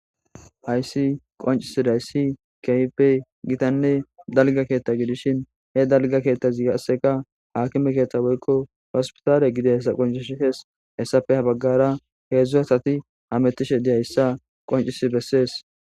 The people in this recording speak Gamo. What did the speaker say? Hayssi qoncisi dayssi keyipe gitanne dalga keetta gidishin he dalga keettazigasseka hakime keetta woykko hospitaale gide hessa qoncish hees hessafe ha baggara heedzdzu hasati hamettishe diyayssa qoncis bessees.